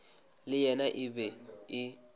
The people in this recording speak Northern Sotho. le yena e be e